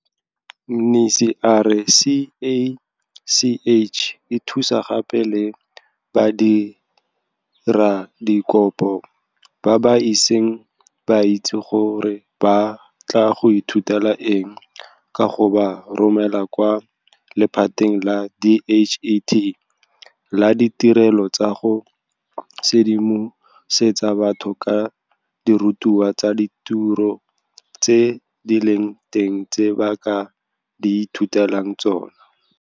Mnisi a re CACH e thusa gape le badiradikopo ba ba iseng ba itse gore ba batla go ithutela eng ka go ba romela kwa lephateng la DHET la Ditirelo tsa go Sedimosetsa Batho ka Dirutwa tsa Ditiro tse di Leng Teng tse ba ka di Ithutelang Tsona.